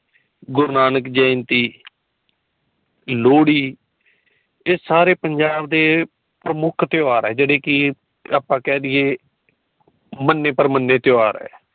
ਗੁਰੂਨਾਨਕ ਜੈਅੰਤੀ ਲੋਹੜੀ ਏ ਸਾਰੇ ਪੰਜਾਬ ਦੇ ਪ੍ਰਮੁੱਖ ਤਿਉਹਾਰ ਹੈ ਜੇੜੇ ਕਿ ਆਪਾ ਕੇ ਦਈਏ ਮਨੇ ਪਰਮਨੇ ਤਿਉਹਾਰ